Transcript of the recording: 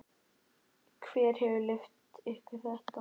Hver hefur leyft ykkur þetta?